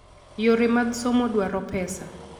Yore mag somo dwaro pesa.